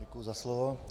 Děkuji za slovo.